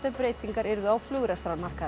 breytingar á